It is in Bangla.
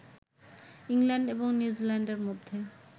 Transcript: ইংল্যান্ড এবং নিউজিল্যান্ডের মধ্যে